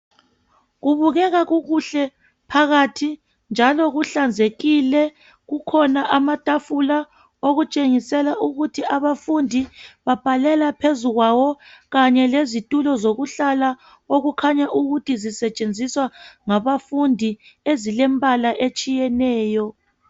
Kubukeka kukuhle phakathi njalo kuhlanzekile. Kukhona amatafula okutshengisela ukuthi abafundi babhalela phezulu kwawo, kanye lezitulo zokuhlala okukhaanya ukukhanya ukuthi ziyasetshenziswa ngabafundi ezilembala etshiyeneyo.